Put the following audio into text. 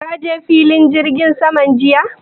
Ka je filin jirgin saman jiya?